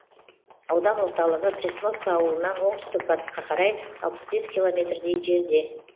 аудан орталығы пресновка ауылынан оңтүстік батысқа қарай алпыс бес километрдей жерде